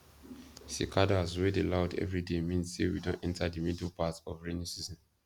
cicadas wey dey loud every day mean say we don dey enter the middle part of rainy season